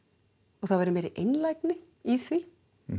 og það væri meiri einlægni í því